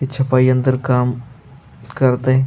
ते छपाई यंत्र काम करत आहे.